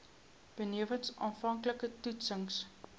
benewens aanvanklike toetsings